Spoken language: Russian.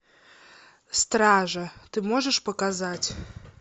стража ты можешь показать